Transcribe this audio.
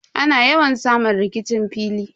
Ana yawan samun rikicin fili.